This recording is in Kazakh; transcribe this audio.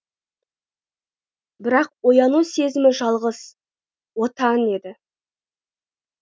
бірақ ояну сезімі жалғыз отан еді